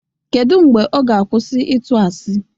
Kedụ mgbe ọ ga-akwụsị ịtụ asi?